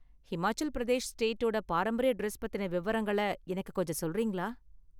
ஹிமாச்சல் பிரதேஷ் ஸ்டேட்டோட பாரம்பரிய டிரஸ் பத்தின விவரங்களை எனக்கு கொஞ்சம் சொல்றீங்களா?